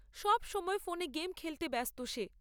সব সময় ফোনে গেম খেলতে ব্যস্ত সে।